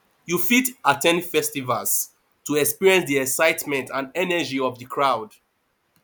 you fit at ten d festivals to experience di excitement and energy of di crowd